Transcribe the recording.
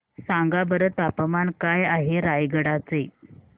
सांगा बरं तापमान काय आहे रायगडा चे